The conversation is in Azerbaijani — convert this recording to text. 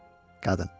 Qadın.